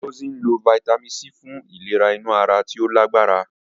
Ngozi lo Fítámìnì C fun ìlera inú ara tí ó lágbára.